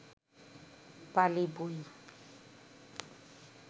পালি বই